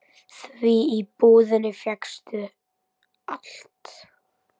Því í búðinni fékkst allt.